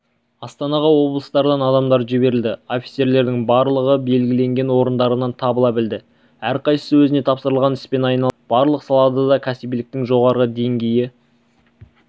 астанаға облыстардан адамдар жіберілді офицерлердің барлығы белгіленген орындарынан табыла білді әрқайсысы өзіне тапсырылған іспен айналысты барлық салада да кәсібиліктің жоғары деңгейі